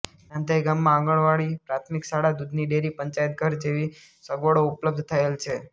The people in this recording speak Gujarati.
નાંધઇ ગામમાં આંગણવાડી પ્રાથમિક શાળા દૂધની ડેરી પંચાયતઘર જેવી સગવડો ઉપલબ્ધ થયેલ છે